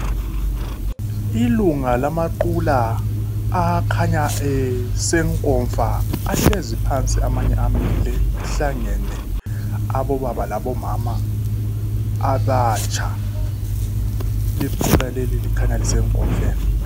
Ilunga lamaqula akhanya esenkomfa ahlezi phansi amanye amile kuhlangene abobaba labomama abatsha, iqula leli kukhanya lise nkomfeni.